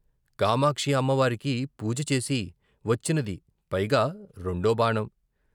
కామాక్షి అమ్మవారికి పూజచేసి వచ్చినది పైగా, రెండో బాణం.